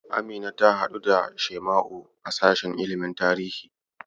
Amina ta haɗu da Shaima'u a sashen ilimin tarihi.